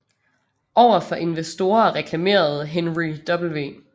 Over for investorer reklamerede Henry W